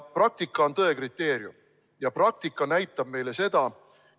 Praktika on tõe kriteerium ja praktika näitab meile seda.